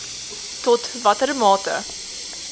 tot watter mate